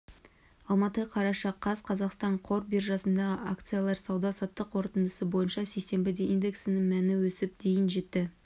алматы қараша қаз қазақстан қор биржасындағы акциялардың сауда-саттық қорытындысы бойынша сейсенбіде индексінің мәні өсіп дейін жетті